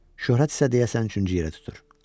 Şöhrət isə deyəsən üçüncü yerə tutur.